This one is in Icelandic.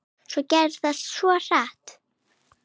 Svo gerðist þetta svo hratt.